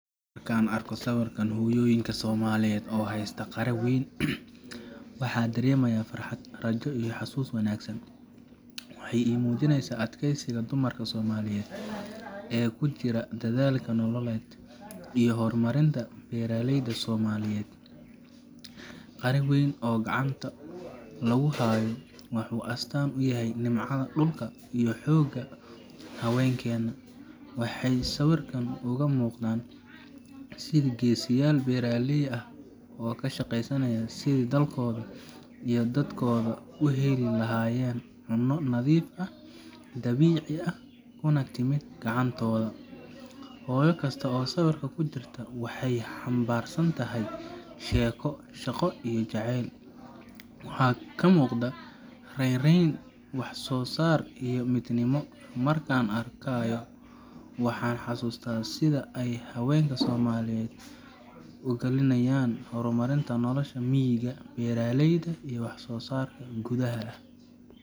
Marka aan arko sawirkaan hooyoyinka somaliyeed oo haysta qara wayn waxa daremeyo farxaad arajo iyo xasuus wanagsaan. Waxay i mujinyasa adkeysiga dumarka somaliyeed ee kujira dadhalka nololeed iyo hormarinta beera layda somaliyeed. Qaara wayn oo gacanta lagu hayo wuxu astaan u yahay nimca dulka iyo xooga hawenkeena waxay sawirkaan uga muqdaan sidha geesiyal beeralayda aah oo ka shagaysanayan sidha dalkoodha iyo dadkodha uhelilahayeen cuno nadiif aah dabici aah kunatimi gacantodha. Hooyo kasto oo sawirka kujirto waxay hambarsanatahy sheeko, shaqo iyo jaceel. Waxaan ka muqda rereen wax so saar iyo midnima markan arkayo waxa xasusta sidha ay hawenka somaliyeed ugalinayan hormarinta noolasha miiga, beeralyda iyo wax soo sarka beeralyda.